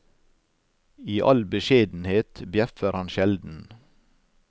I all beskjedenhet bjeffer han sjelden.